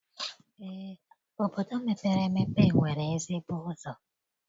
eé, obodo mepere emepe nwere ezigbo ụzọ.